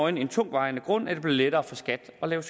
er nogen tungtvejende grund at det bliver lettere for skat at lave